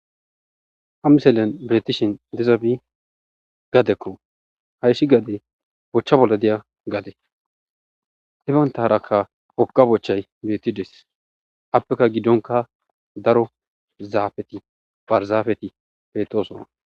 ha miselen beetishin dezabi gadekko hayshi gade bochcha bolla deya gaade hi bantaharaka oga bochay bettides appeka giddonka daro zaafeti barzaafeti betoosona